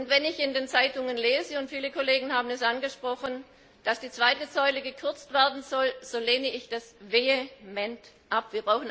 Wenn ich in den Zeitungen lese viele Kollegen haben das angesprochen dass im Rahmen der zweiten Säule gekürzt werden soll, so lehne ich das vehement ab!